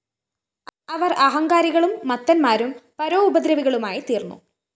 അവര്‍ അഹങ്കാരികളും മത്തന്മാരും പരോപദ്രവികളുമായിത്തീര്‍ന്നു